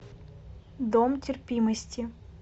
дом терпимости